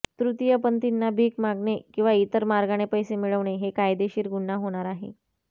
तृतीयपंथींना भिक मागणे किंवा इतर मार्गाने पैसे मिळवणे हे कायदेशीर गुन्हा होणार आहे